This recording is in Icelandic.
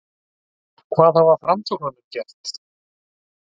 Hvað hafa Framsóknarmenn gert?